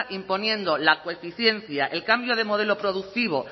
imponiendo la el cambio de modelo productivo